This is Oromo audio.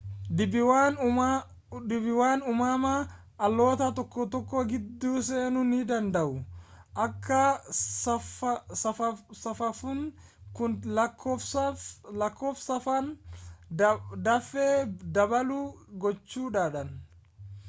dhiibbaawwan uumamaa haalota tokko tokko gidduu seenuu ni danda'u akka saphaphuun kun lakkoofsaan dafee dabalu gochuudhaan